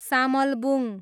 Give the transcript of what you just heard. Samalbung